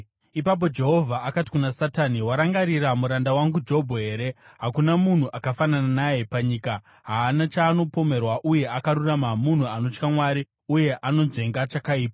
Ipapo Jehovha akati kuna Satani, “Warangarira muranda wangu Jobho here? Hakuna munhu akafanana naye panyika, haana chaanopomerwa uye akarurama, munhu anotya Mwari uye anonzvenga chakaipa.”